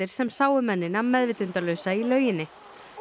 sem sáu mennina meðvitundarlausa í lauginni